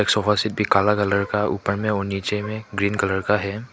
Sofa set भी काला colour का ऊपर में और नीचे में ग्रीन कलर का है।